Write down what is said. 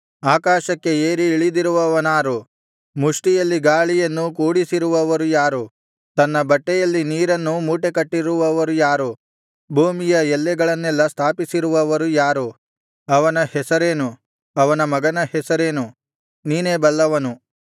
ಆಕಾಶಕ್ಕೆ ಏರಿ ಇಳಿದಿರುವವನಾರು ಮುಷ್ಠಿಯಲ್ಲಿ ಗಾಳಿಯನ್ನು ಕೂಡಿಸಿರುವವರು ಯಾರು ತನ್ನ ಬಟ್ಟೆಯಲ್ಲಿ ನೀರನ್ನು ಮೂಟೆಕಟ್ಟಿರುವವರು ಯಾರು ಭೂಮಿಯ ಎಲ್ಲೆಗಳನ್ನೆಲ್ಲಾ ಸ್ಥಾಪಿಸಿರುವವರು ಯಾರು ಅವನ ಹೆಸರೇನು ಅವನ ಮಗನ ಹೆಸರೇನು ನೀನೇ ಬಲ್ಲವನು